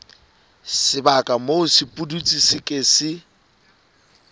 sebaka moo sepudutsi se ke